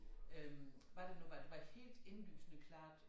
Øh var det nu var var det helt indlysende klart